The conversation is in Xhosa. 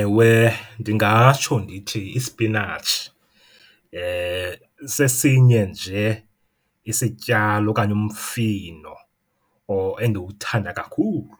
Ewe ndingatsho ndithi isipinatshi sesinye nje isityalo okanye umfino endiwuthanda kakhulu.